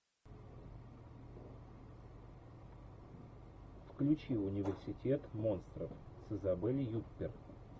включи университет монстров с изабель юппер